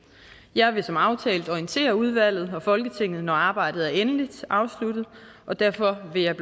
jeg vil som aftalt orientere udvalget og folketinget når arbejdet er endeligt afsluttet og derfor vil jeg